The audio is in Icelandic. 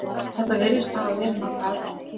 Þetta virðist hafa verið nokkuð algengt.